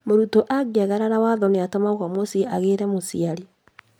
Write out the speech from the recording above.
Mũrutwo angĩagarara watho nĩatũmagwo mũciĩ agĩre mũciari